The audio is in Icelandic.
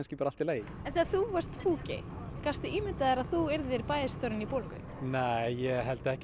bara allt í lagi en þegar þú varst púki gast þú ímyndað þér að þú yrði bæjarstjórinn í Bolungarvík nei ég held ekki